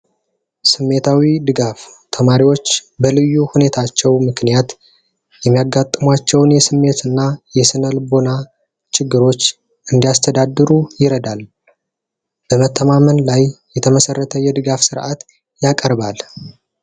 ስሜታዊ ድጋፍ ተማሪዎች በልዩ ሁኔታቸው ምክንያት የሚያጋጥሟቸውን የስሜት እና የስነልቦና ችግሮች እንዲያስተዳድሩ ይረዳናል። በመተማመን ላይ የተመሰረተ የድጋፍ ስረዓት ያቀርባል።